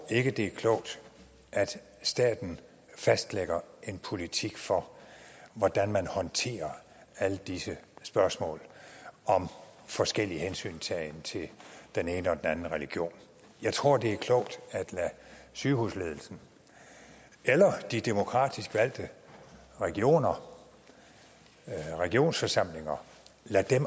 det er klogt at staten fastlægger en politik for hvordan man håndterer alle disse spørgsmål om forskellig hensyntagen til den ene og den anden religion jeg tror det er klogt at lade sygehusledelsen eller de demokratisk valgte regioner regionsforsamlingerne